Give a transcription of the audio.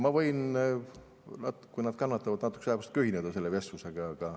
Ma võin, kui nad kannatavad, natukese aja pärast ühineda selle vestlusega.